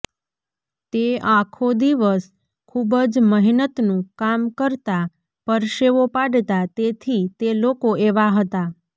તે આખો દિવસ ખુબ જ મહેનતનું કામ કરતા પરસેવો પાડતા તેથી તે લોકો એવા હતા